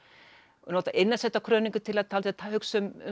og nota Innansveitarkróníku til að hugsa um